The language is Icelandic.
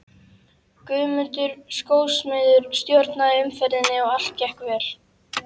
Guðmundur skósmiður stjórnaði umferðinni og allt gekk vel.